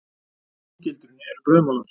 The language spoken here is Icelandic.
Inni í gildrunni eru brauðmolar.